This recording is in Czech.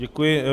Děkuji.